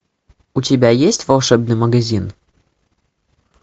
у тебя есть волшебный магазин